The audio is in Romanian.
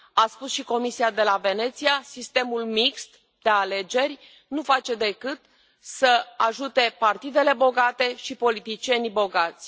A spus și Comisia de la Veneția, sistemul mixt de alegeri nu face decât să ajute partidele bogate și politicieni bogați.